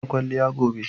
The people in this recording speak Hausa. Zan yi kwalliya gobe